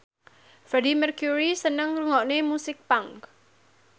Freedie Mercury seneng ngrungokne musik punk